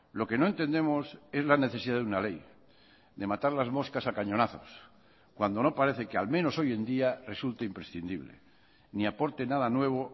lo que no entendemos es la necesidad de una ley de matar las moscas a cañonazos cuando no parece que al menos hoy en día resulta imprescindible ni aporte nada nuevo